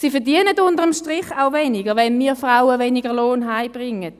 Sie verdienen unter dem Strich auch weniger, wenn wir Frauen weniger Lohn nach Hause bringen.